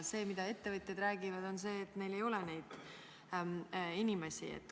See, mida ettevõtjad räägivad, on see, et ei ole neid inimesi.